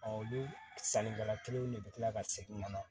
olu sannikɛla kelenw de be kila ka segin ka na